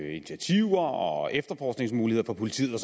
initiativer og efterforskningsmuligheder for politiet og